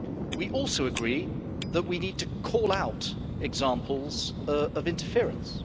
We also agree that we need to call out examples of interference.